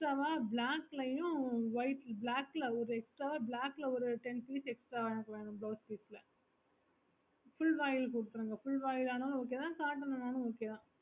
so அந்த மாதிரி black ளையும் white black ல ஒரு extra black ல ஒரு ten piece extra எனக்கு வேணும் blouse piece ல full வாயில் குடுத்துருங்க full வாயில் அனாலும் okay தான் short அனாலும் okay தான்